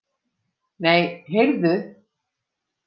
Nei, heyrðu!